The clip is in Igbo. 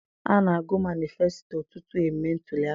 A na-agụ manisfesito tutu e mee ntuliaka.